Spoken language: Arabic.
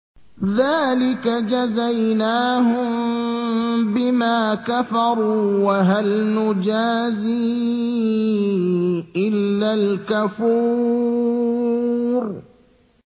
ذَٰلِكَ جَزَيْنَاهُم بِمَا كَفَرُوا ۖ وَهَلْ نُجَازِي إِلَّا الْكَفُورَ